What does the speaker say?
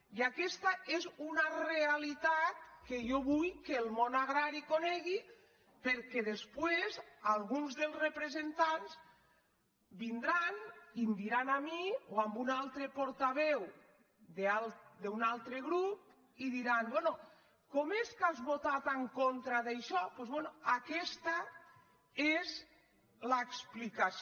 i aquesta és una realitat que jo vull que el món agrari conegui perquè després alguns dels representants vin·dran i em diran a mi o a alguna altra portaveu d’un altre grup i diran bé com és que has votat en contra d’això doncs bé aquesta n’és l’explicació